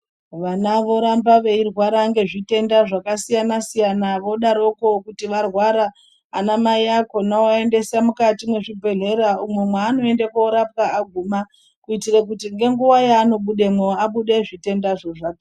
Vana voramba veirwara nezvitenda zvakasiyana siyana vodaroko kuti vorwara ana mai vakona kuisa mukati mezvibhedhlera umwe manoenda korapwa aguma kuitira kuti ngenguwa yanobudamo abude zvitenda zvezvato.